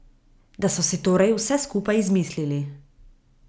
Da so si torej vse skupaj izmislili.